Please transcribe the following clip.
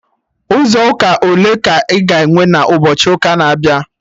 Ụzọ ụka ole ka a ga-enwe na ụbọchị ụka na-abịa?